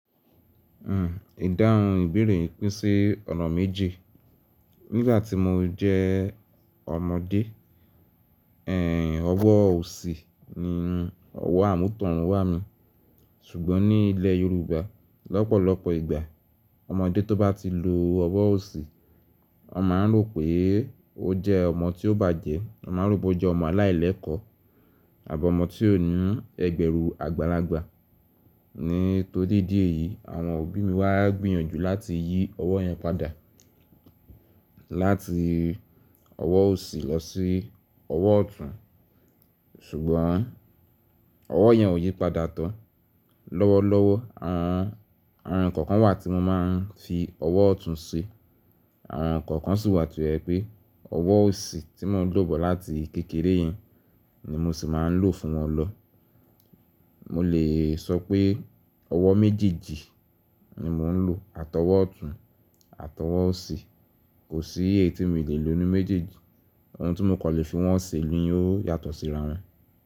Hmm, ìdáhùn ìbéèrè pín sí ọ̀nà méje. Nígbà tí mo jẹ́ ọmọdé, ẹ́ Ọwọ́ òsì ni ọwọ́ àmútọ̀run wá mi. Ṣùgbọ́n ní ilẹ̀ Yorùbá, lọ́pọ̀lọpọ̀ ìgbà, ọmọdé tó bá ti lo ọwọ́ òsì, wọn máa ń rò pé ó jẹ́ ọmọ tí ó bàjẹ́, wọn máa ń rò pé ó jẹ́ ọmọ aláìlẹ́kọ̀ọ́ àbí ọmọ tí ó ní ẹgbẹ́ru àgbàlagbà. Nítorí díẹ̀ yìí, àwọn òbí mi wá gbìyànjú láti yí ọwọ́ yẹn padà. Láti ọwọ́ òsì lọ sí ọwọ́ ọ̀tún. Ṣùgbọ́n ọwọ́ yẹn ò yí padà tán. Lọ́wọ́lọ́wọ́, àwọn ǹkan kan wà tí mo máa ń fi ọwọ́ ọ̀tún ṣe, àwọn ǹkan kan sì wà to jẹ pé ọwọ́ òsì tí mò ń lò bọ̀ láti kékeré yẹn ni mo sì máa ń lò fún wọn lọ. Mo lè sọ pé ọwọ́ méjèèjì ni mò ń lò. Àtọwọ́ ọ̀tún, àtọwọ́ òsì. Kò sí èyí tí mii lè lò n nu méjèèjì. Ohun tí mo kò lè fi wọ́n ṣe ni ó yàtọ̀ síra wọn.